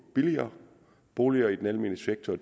billigere boliger i den almene sektor og